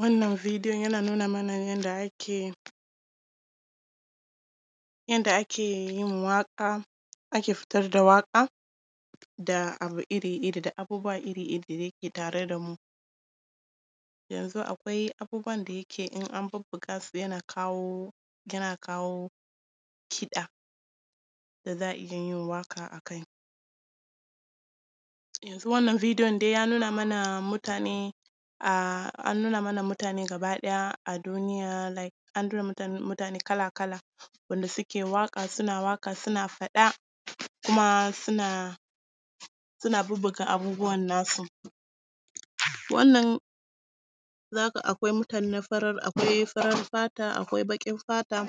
Wannan videon yana nuna mana yadda ake… yadda ake yin waƙa, ake fitar da waƙa da abu iri-iri da abubuwa iri-iri dai da ke tare da mu. Yanzu akwai abubuwan da yake in an bubbuga su yana kawo, yana kawo kiɗa, da za a iya yin waƙa a kai. Yanzu wannan videon dai ya nuna mana mutane a… an nuna mana mutane gaba ɗaya a duniya, like an nuna mana mutane kala-kala, wanda suke waƙa, suna waƙa, suna faɗa kuma suna… suna bubbuga abubuwan nasu. Wannan akwai mutane na farar… akwai farar fata, akwai baƙin fata,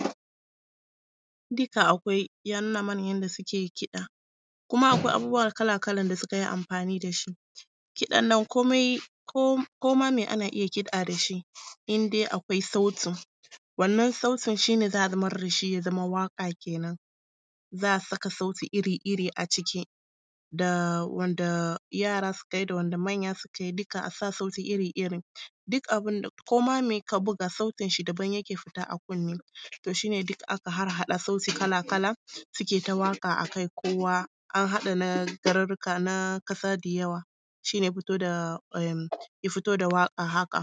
duka akwai, ya nuna mana yadda suke yin kiɗa. Kuma akwai abubuwa kala-kalan da suka yi amfani da shi. Kiɗan nan komai… ko ma me ana iya kiɗa da shi, in dai akwai sautin, wannan sautin shi ne za a zamar da shi ya zama waƙa kenan, za a saka sauti iri-iri a ciki da wanda yara suka yi da wanda manya suka yi, duka, a sa sauti iri-iri. Duk abin da, ko ma ka buga, sautinshi daban yake fita a kunne, to shi ne duk aka harhaɗa sauti kala-kala, suke ta waƙa a kai, kowa an haɗa na garurruka, na ƙasa da yawa, shi ne ya fito da… ya fito da waƙa haka.